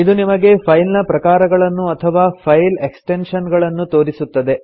ಇದು ನಿಮಗೆ ಫೈಲ್ ನ ಪ್ರಕಾರಗಳನ್ನು ಅಥವಾ ಫೈಲ್ ಎಕ್ಸ್ಟೆನ್ಶನ್ ಗಳನ್ನು ತೋರಿಸುತ್ತದೆ